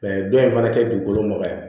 don in fana tɛ dugukolo magaya